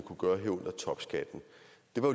på